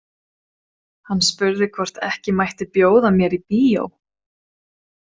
Hann spurði hvort ekki mætti bjóða mér í bíó.